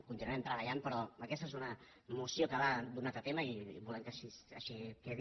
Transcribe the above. continuarem treballant però aquesta és una moció que va d’un altre tema i volem que així quedi